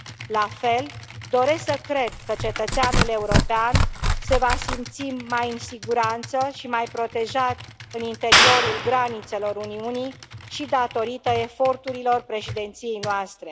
La fel, doresc să cred că cetățeanul european se va simți mai în siguranță și mai protejat în interiorul granițelor Uniunii și datorită eforturilor președinției noastre.